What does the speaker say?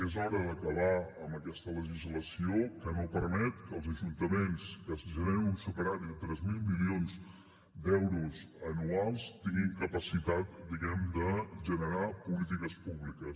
és hora d’acabar amb aquesta legislació que no permet que els ajuntaments que generen un superàvit de tres mil milions d’euros anuals tinguin capacitat de generar polítiques públiques